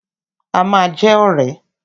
A ma jẹ́ ọ̀rẹ́.